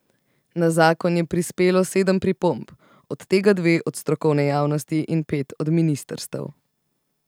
Na zakon je prispelo sedem pripomb, od tega dve od strokovne javnosti in pet od ministrstev.